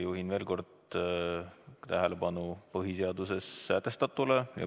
Juhin veel kord tähelepanu põhiseaduses sätestatule.